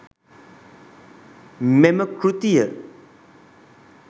මෙම කෘතිය